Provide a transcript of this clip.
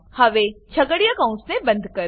હવે છગડીયા કૌંસને બંધ કરો